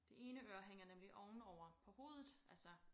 Det ene øre hænger nemlig ovenover på hovedet altså